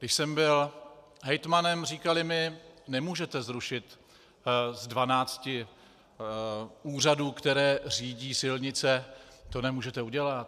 Když jsem byl hejtmanem, říkali mi: Nemůžete zrušit ze 12 úřadů, které řídí silnice, to nemůžete udělat.